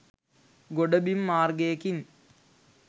ගොඩබිම් මාර්ගයකින්